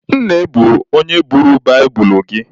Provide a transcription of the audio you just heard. Nne bụ onye buuru baịbụlụ gị.